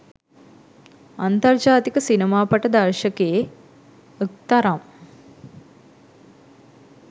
අන්තර් ජාතික සිනමාපට දර්ශකයෙ .ක් තරම්